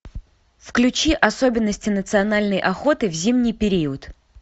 включи особенности национальной охоты в зимний период